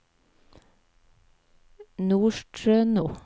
Nordstrøno